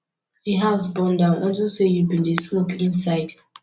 the house burn down unto say you bin dey smoke inside